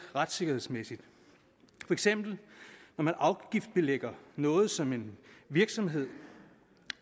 retssikkerhedsmæssige for eksempel når man afgiftsbelægger noget som en virksomhed